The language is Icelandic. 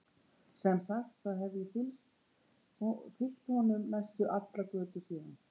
Sem sagt, þá hef ég fylgt honum næstum allar götur síðan.